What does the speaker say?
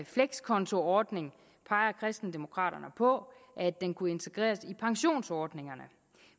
flekskontoordning peger kristendemokraterne på at den kunne integreres i pensionsordningerne